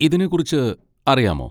ഇതിനെ കുറിച്ച് അറിയാമോ?